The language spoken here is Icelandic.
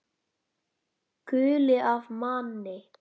Gull af manni.